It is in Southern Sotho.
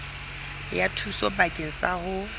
ya thuso bakeng sa ho